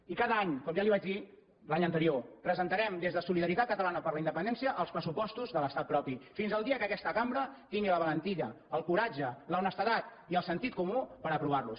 i cada any com ja li vaig dir l’any anterior presentarem des de solidaritat catalana per la independència els pressupostos de l’estat propi fins al dia que aquesta cambra tingui la valentia el coratge la honestedat i el sentit comú per aprovar los